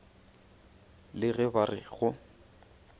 le ge ba re go